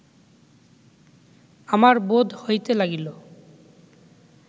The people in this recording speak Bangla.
আমার বোধ হইতে লাগিল